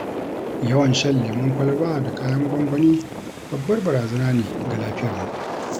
Yawan shan lemon kwalaba, da kayan gwangwani babbar barazana ne ga lafiyarmu.